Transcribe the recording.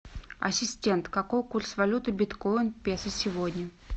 ассистент какой курс валюты биткоин к песо сегодня